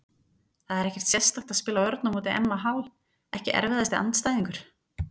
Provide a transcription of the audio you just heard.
Það er ekkert sérstakt að spila vörn á móti Emma Hall Ekki erfiðasti andstæðingur?